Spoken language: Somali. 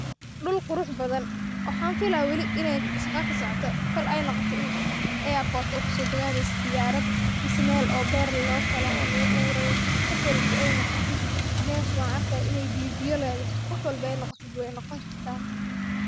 Dul qurux badhan waxaan fila weli in ey shaqo kasocoto kol ey noqoto in airport ey kusodagaaneyse diyaarad mise meel oo beer loofala oo laguabuurayo wax walba ey noqoto mesh waan arkaya in ey biyo biyo leedhahy, wax walba eey noqotid wey noqon kartaa.